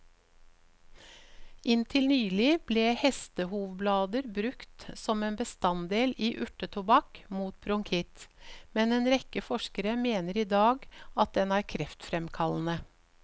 Inntil nylig ble hestehovblader brukt som en bestanddel i urtetobakk mot bronkitt, men en rekke forskere mener i dag at den er kreftfremkallende.